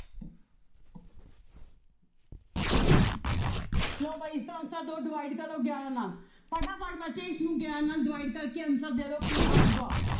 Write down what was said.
ਲਓ ਬਾਈ answer ਦਿਓ divide ਕਰੋ ਗਿਆਰਾਂ ਨਾਲ ਫਟਾਫਟ ਬੱਚੇ ਇਸਨੂੰ ਗਿਆਰਾਂ ਨਾਲ divide ਕਰਕੇ answer ਦੇ ਦਓ ਕੀ ਆਊਗਾ